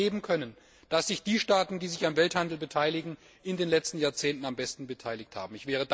Wir haben ja erleben können, dass die Staaten, die sich am Welthandel beteiligen, sich in den letzten Jahrzehnten am besten entwickelt haben.